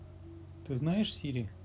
ты знаешь сири